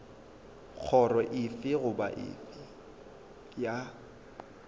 kgoro efe goba efe ya